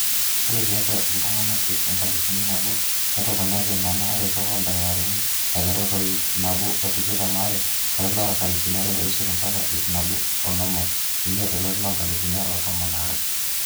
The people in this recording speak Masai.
ore tiatua iltung'anak ip enkalifu nabo netoponate nena aretok ooldakitarini aiterru te ip nabo o tikitam aare tolari loonkalifuni are oisiet mbaka ip nabo oonom oimiet tolari loonkalifuni are o tomon aare